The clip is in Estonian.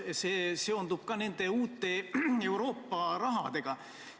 See seondub ka nende uute Euroopa rahadega.